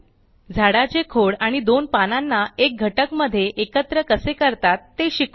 झाडाचे खोड आणि दोन पानांना एक घटक मध्ये एकत्र कसे करतात ते शिकू